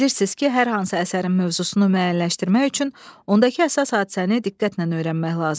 Bilirsiniz ki, hər hansı əsərin mövzusunu müəyyənləşdirmək üçün ondakı əsas hadisəni diqqətlə öyrənmək lazımdır.